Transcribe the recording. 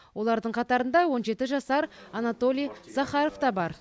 олардың қатарында он жеті жасар анатолий захаров та бар